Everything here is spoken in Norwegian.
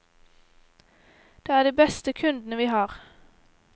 Det er de beste kundene vi har.